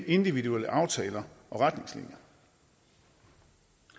individuelle aftaler og retningslinjer